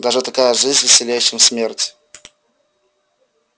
даже такая жизнь веселей чем смерть